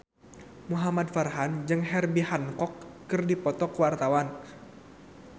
Muhamad Farhan jeung Herbie Hancock keur dipoto ku wartawan